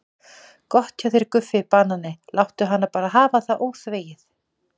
Gott hjá þér Guffi banani, láttu hana bara hafa það óþvegið.